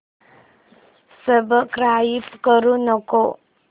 subscribe करू नको